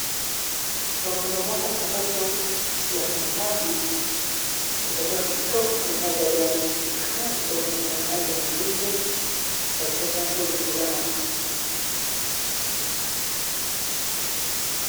Lokolo moko sapato ya bobali ezali ya kitoko mpenza ezali ya sika nazomona eza balangi ya moyindo batiaki yango likolo ya matiti.